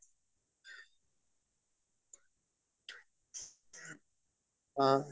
আ